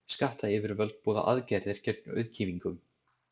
Skattayfirvöld boða aðgerðir gegn auðkýfingunum.